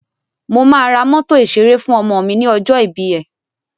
Mo máa ra mọ́tò ìṣeré fú ọmọ mi ní ọjọ́ ìbí ẹ̀.